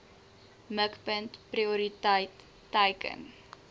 mikpunt prioriteit teiken